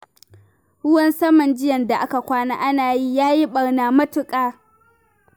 Ruwan saman jiya da aka kwana ana yi, ya yi ɓarna matuƙa